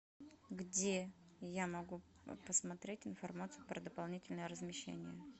где я могу посмотреть информацию про дополнительное размещение